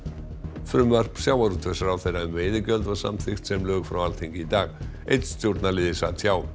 frumvarp sjávarútvegsráðherra um veiðigjöld var samþykkt sem lög frá Alþingi í dag einn stjórnarliði sat hjá